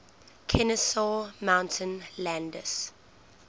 kenesaw mountain landis